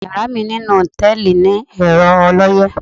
Yàrá mi ninú hòtẹ̣́ẹ̀lì ni ẹ̀rọ ọlọ́yẹ́.